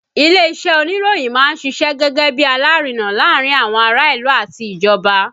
Ilé-iṣẹ́ oníròyìn máa ń ṣiṣẹ́ gẹ́gẹ́ bí alárinà láàárín àwọn ará ìlú àti ìjọba